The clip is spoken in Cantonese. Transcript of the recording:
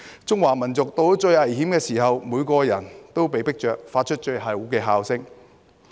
中華民族到了最危險的時候，每個人被迫着發出最後的吼聲。